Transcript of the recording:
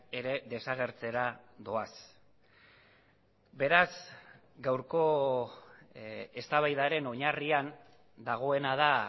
ere desagertzera doaz beraz gaurko eztabaidaren oinarrian dagoena da